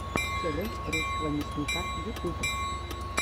челлендж русского мясника ютюб